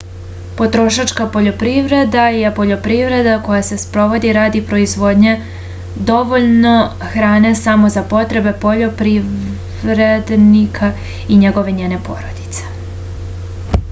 потрошачка пољопривреда је пољопривреда која се спроводи ради производње довољно хране само за потребе пољопривредника и његове/њене породице